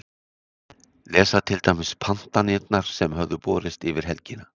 Lesa til dæmis pantanirnar sem höfðu borist yfir helgina.